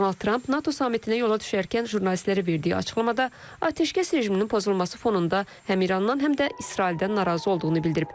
Donald Tramp NATO sammitinə yola düşərkən jurnalistlərə verdiyi açıqlamada atəşkəs rejiminin pozulması fonunda həm İrandan, həm də İsraildən narazı olduğunu bildirib.